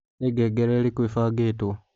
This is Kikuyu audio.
nĩ ngengere ĩrĩkũ ĩbangĩtwo